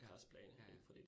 Ja, Ja ja